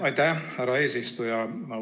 Aitäh, härra eesistuja!